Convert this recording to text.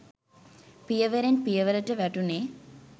පියවරෙන් පියවරට වැටුණේ